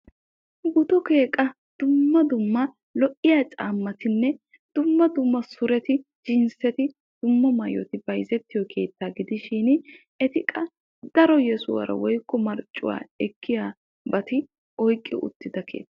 Butukke qa dumma dumma lo'iyaa caamatinne dumma dumma suretti jinseti dumma dumma maayoti bayzetiyo keettaa gidishin eti qa daro yesuwaara woykko marccuwaa ekkiyabata oyqqi uttidosona.